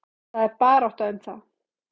Það er barátta um það.